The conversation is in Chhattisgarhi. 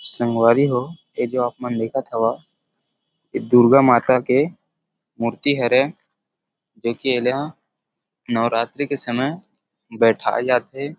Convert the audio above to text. संगवारी हो ऐ जो आप मन देखत हव इ दुर्गा माता के मूर्ति हरे जो कि ए ला नवरात्री के समय बैठाए जाथे।